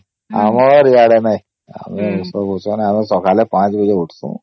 ଆମର ଆଡେ ନାହିଁ ଆମେ ଏସବୁ ଆମେ ସକାଳେ ୫ ବାଜେ ଉଠୁସନ